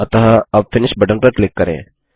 अतः अब finish button पर क्लिक करें